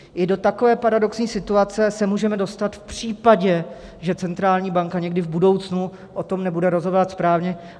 I do takové paradoxní situace se můžeme dostat v případě, že centrální banka někdy v budoucnu o tom nebude rozhodovat správně.